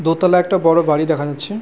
দোতলা একটা বড় বাড়ি দেখা যাচ্ছে।